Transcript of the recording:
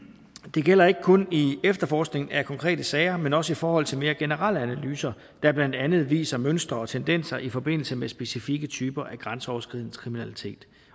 det gælder ikke kun i efterforskningen af konkrete sager men også i forhold til mere generelle analyser der blandt andet viser mønstre og tendenser i forbindelse med specifikke typer af grænseoverskridende kriminalitet